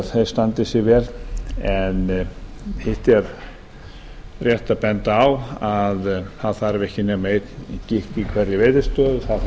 eftir standi sig hitt er rétt að benda á að það þarf ekki nema einn gikk í hverri veiðistöð og